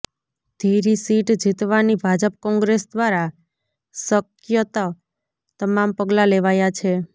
ધીરી seat જીતવાની Bhajap Congress દ્વારા શકયત તમામ પગલા લેવાયા છે